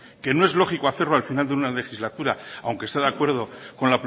que no es lógico hacerlo al final de una legislatura aunque está de acuerdo con